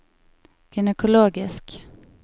gynekologisk